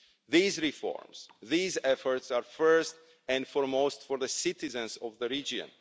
These reforms and efforts are, first and foremost, for the citizens of the region.